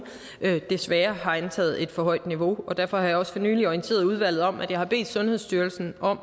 desværre har antaget et for højt niveau derfor har jeg også for nylig orienteret udvalget om at jeg har bedt sundhedsstyrelsen